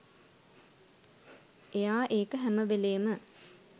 එයා ඒක හැම වෙලේම